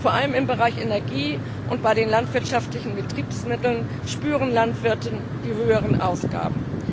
Vor allem im Bereich Energie und bei den landwirtschaftlichen Betriebsmitteln spüren Landwirte die höheren Ausgaben.